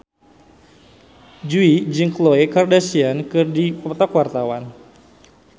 Jui jeung Khloe Kardashian keur dipoto ku wartawan